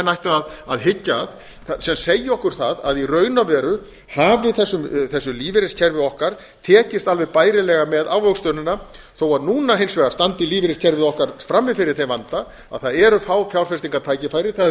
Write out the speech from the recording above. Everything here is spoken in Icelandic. ættu að hyggja að sem segja okkur það að í raun og veru hafi þessu lífeyriskerfi okkar tekist alveg bærilega með ávöxtunina þó að núna hins vegar standi lífeyriskerfið okkar frammi fyrir þeim vanda að það eru fá fjárfestingartækifæri það